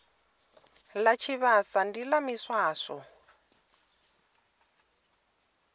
ḽa tshivhasa ndi ḽa miswaswo